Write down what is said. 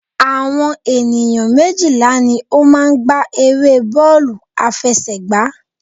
Àwọn ènìyàn méjìlá ní o máa n gbá eré bọ́ọ̀lù àfẹsẹ̀gbá